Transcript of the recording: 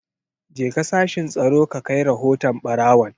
Jeka sashin Tsaro ka kai rahoton barawon!